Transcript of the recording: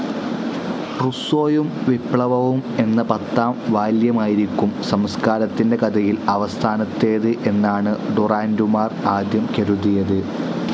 റുസ്സോയും വിപ്ലവവും എന്ന പത്താം വാല്യമായിരിക്കും സംസ്കാരത്തിന്റെ കഥയിൽ അവസാനത്തേത് എന്നാണ് ഡുറാന്റുമാർ ആദ്യം കരുതിയത്.